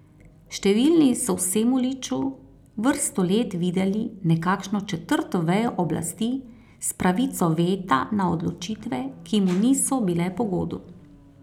Številni so v Semoliču vrsto let videli nekakšno četrto vejo oblasti s pravico veta na odločitve, ki mu niso bile pogodu.